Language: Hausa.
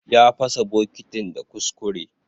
Ya pasa bokitin da kuskure.